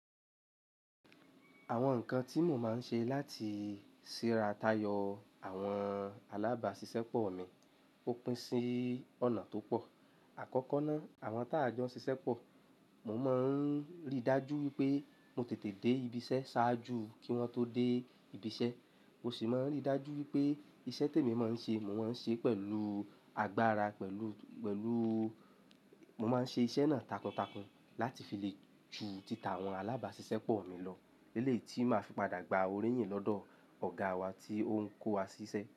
Àwọn nǹkan tí mo máa ń ṣe láti ṣíra tayọ àwọn alábàáṣiṣẹ́ pọ̀ mi ó pín sí ọ̀nà tó pọ̀. Àkọ́kọ́ ná, àwọn tá a jọ ṣiṣẹ́ pọ̀, mo máa ń rí dájú wípé mo tètè dé ibi iṣẹ́ ṣáájú kí wọ́n tó dé ibi iṣẹ́. Mo sì máa ń rí dájú wípé iṣẹ́ tèmi máa ń ṣe, mo máa ń ṣe pẹ̀lú agbára, pẹ̀lú, pẹ̀lú mo máa ń ṣe iṣẹ́ náà takuntakun láti fi lè ju títà àwọn alábáṣiṣẹ́ pọ̀ mi lọ. Lélè yi tí máa fi padà gba oríyìn lọ́dọ̀ ọ̀gá wa tí ó ń kó wa ṣíṣẹ́